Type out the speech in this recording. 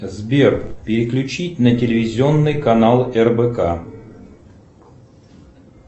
сбер переключить на телевизионный канал рбк